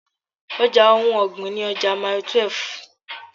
Ọja ohun ọ̀gbìn ni ọjà Mile 12.